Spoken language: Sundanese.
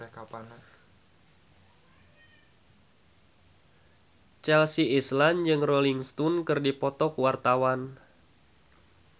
Chelsea Islan jeung Rolling Stone keur dipoto ku wartawan